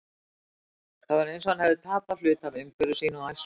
Það var eins og hann hefði tapað hluta af umhverfi sínu og æsku.